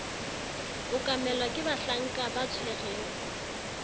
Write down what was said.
okamelwa ke bahlanka ba tshwereng